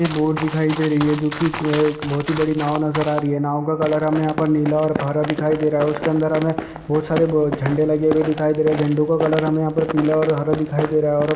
एक बोर्ड दिखाई दे रही है जो की क्वे-- बहोत ही बड़ी नाँव नज़र आ रही है नाँव का कलर हमे यहाँ पर निला और हरा दिखाई दे रहा है उसके अंदर हमे बहोत सारे झंडे लगे हुए दिखाई दे रहें झंडो का कलर हमे यहाँ पर पीला और हरा दिखाई दे रहा है और---